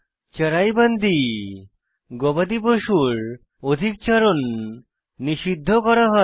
চরাইবন্দী গবাদি পশুর অধিক চারণ নিষিদ্ধ করা হয়